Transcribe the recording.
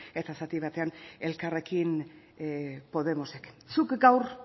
eta zati batean elkarrekin podemosek zuk gaur